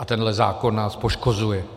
A tenhle zákon nás poškozuje.